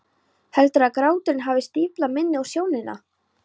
Heldur að gráturinn hafi stíflað minnið og sjónina.